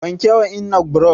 wanke wa ennan brush